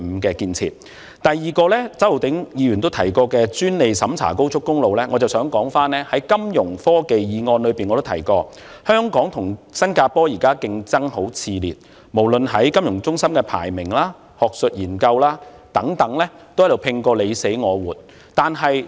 我在"推動金融科技中心發展，鞏固本港的國際金融中心地位"議案亦曾提及，香港和新加坡現在競爭很熾烈，無論在國際金融中心排名、學術研究等方面，都拼個你死我活。